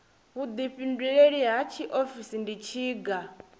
vhuḓifhinduleli ha tshiofisi ndi tshiga